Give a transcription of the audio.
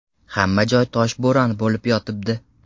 Hamma joy toshbo‘ron bo‘lib yotibdi.